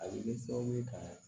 A bɛ kɛ sababu ye ka